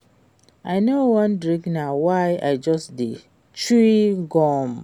I no wan drink na why I just dey chew gum